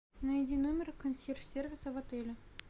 найди номер консьерж сервиса в отеле